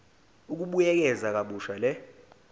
ukubuyekeza kabusha le